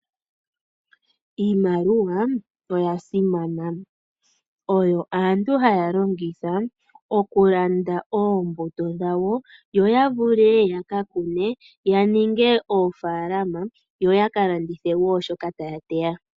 Iimaliwa oya simana oyo aantu haya longitha okulanda oombuto dhawo yo yavule yaka kune yaninge oofalama yo yaka landithe shoka taya teya.